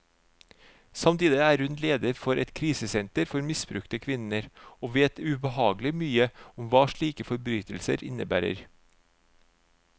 Samtidig er hun leder for et krisesenter for misbrukte kvinner, og vet ubehagelig mye om hva slike forbrytelser innebærer.